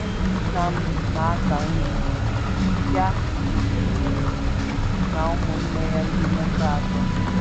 Nna m, n’aka nri, ya na ụmụnne ya ndị nwoke atọ